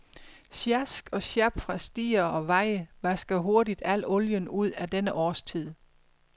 Sjask og sjap fra stier og veje vasker hurtigt al olien ud på denne årstid.